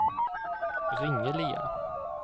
Ringelia